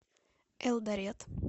элдорет